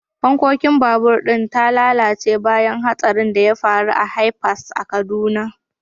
fankon babur din ta lalace bayan hatsarin da ya faru a bypass a kaduna.